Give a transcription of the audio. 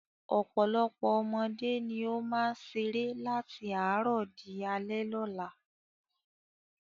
Ọ̀pọ̀lọpọ̀ ọmọdé ni ó máa ń ṣeré láti àárọ̀ di alẹ́ lọ́la.